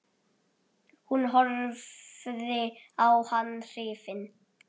Hún horfði á hann hrifin.